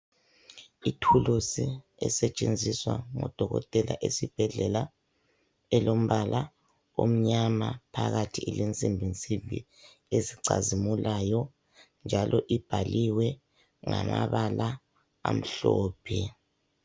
Ithulusi esetshenziswa ngudokotela esibhedlela. Elombala omnyama. Phakathi ilensimbinsimbi, ezicazimulayo, njalo ibhaliwe, ngamabala amhlophe.